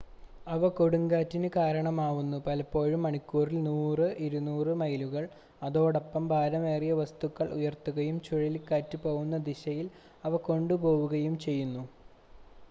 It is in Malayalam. അവ കൊടുങ്കാറ്റിന് കാരണമാവുന്നു പലപ്പോഴും മണിക്കൂറിൽ 100 - 200 മൈലുകൾ അതോടൊപ്പം ഭാരമേറിയ വസ്തുക്കൾ ഉയർത്തുകയും ചുഴലിക്കാറ്റ് പോവുന്ന ദിശയിൽ അവ കൊണ്ടുപോവുകയും ചെയ്യുന്നു